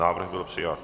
Návrh byl přijat.